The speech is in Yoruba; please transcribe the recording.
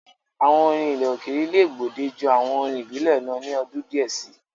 Àwọn orin ilẹ̀ òkèèrè le gbòde ju àwọn orin ìbílẹ̀ lọ ni ọdún díẹ̀ si.